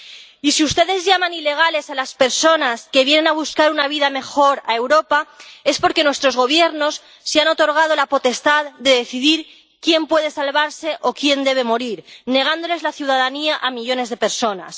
Y si ustedes llaman ilegales a las personas que vienen a buscar una vida mejor a Europa es porque nuestros Gobiernos se han otorgado la potestad de decidir quién puede salvarse o quién debe morir, negándoles la ciudadanía a millones de personas.